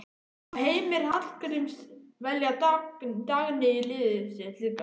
Má Heimir Hallgríms velja Dagný í liðið sitt líka?